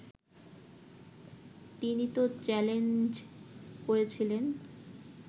তিনি তো চ্যালেঞ্জ করেছিলেন